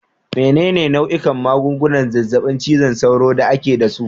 Menene nau'ikan magungunan zazzabin cizon sauro da ake da su?